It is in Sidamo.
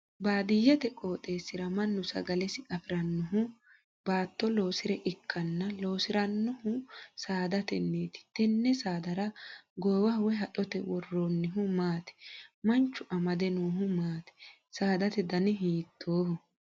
Baadiyete qooxeesira Manu sagalesi afiranohu ubaatto loosire ikanna loosiranohuno saadateniiti tenne saadara goowaho woyi haxote woroonnihu maati? Manchu amade noohu maati? Saadate danni hiittooho?